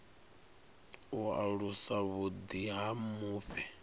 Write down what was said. u alusa vhuḓi ha mufhe